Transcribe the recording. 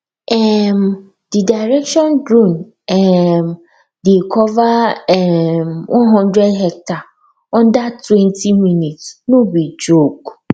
um the direction drone um dey cover um hundred hectare under twenty minutes no be joke